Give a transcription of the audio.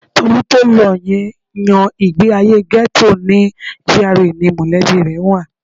Tolú tó ń lọ yẹn yan ìgbéayé gẹ́tò ni, GRA ni mọ̀lẹ́bí rẹ̀ wa